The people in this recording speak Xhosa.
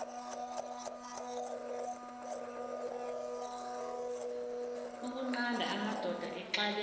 ukunqanda amadoda axabene